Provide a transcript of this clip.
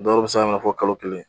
Dɔw be se k'a minɛ fɔ kalo kelen.